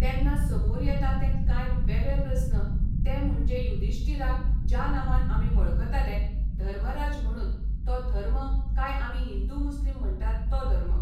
तेन्ना समोर येता तें कांय वेगळे प्रस्न ते म्हणजे युद्धीष्टीराक ज्या नांवान आमी वळखताले धर्मराज म्हणून तो धर्म काय आमी हिंदू मुस्लीम म्हणटात तो धर्म.